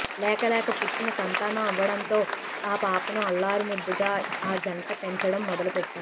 లేక లేక పుట్టిన సంతానం అవ్వడంతో ఆ పాపను అల్లారు ముద్దుగా ఆ జంట పెంచడం మొదలు పెట్టారు